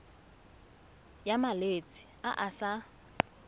ya malwetse a a sa